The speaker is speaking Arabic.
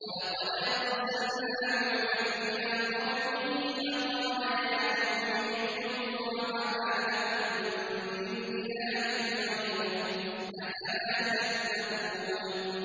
وَلَقَدْ أَرْسَلْنَا نُوحًا إِلَىٰ قَوْمِهِ فَقَالَ يَا قَوْمِ اعْبُدُوا اللَّهَ مَا لَكُم مِّنْ إِلَٰهٍ غَيْرُهُ ۖ أَفَلَا تَتَّقُونَ